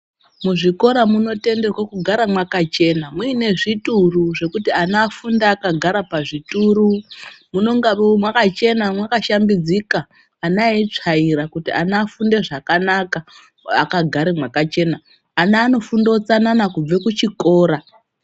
Muzvikora munotenderwe kugara mwakachena muine zvituru zvekuti ana afunde akagara pazvituru munongawo mwakachena mwakashambidzika ana eitsvaira kuti ana afunde zvakanaka akagare mwakachena ana anofunde utsanana kubve kuchikora.